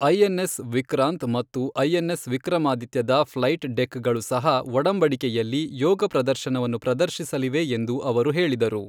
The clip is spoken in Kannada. ಐಎನ್ಎಸ್ ವಿಕ್ರಾಂತ್ ಮತ್ತು ಐಎನ್ಎಸ್ ವಿಕ್ರಮಾದಿತ್ಯದ ಫ್ಲೈಟ್ ಡೆಕ್ಗಳು ಸಹ ಒಡಂಬಡಿಕೆಯಲ್ಲಿ ಯೋಗ ಪ್ರದರ್ಶನವನ್ನು ಪ್ರದರ್ಶಿಸಲಿವೆ, ಎಂದು ಅವರು ಹೇಳಿದರು.